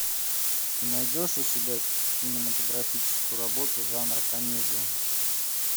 ты найдешь у себя кинематографическую работу жанра комедия